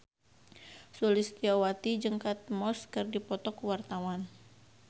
Sulistyowati jeung Kate Moss keur dipoto ku wartawan